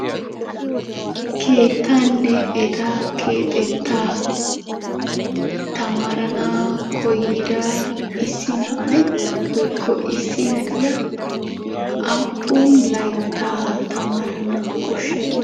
Keettaanne eta keexettaa tamaaranawu koyyida issi na"ay woyikko issi na"iyaa aappun layttaa tamaarana koshshay?